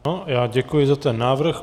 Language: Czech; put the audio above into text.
Já děkuji za ten návrh.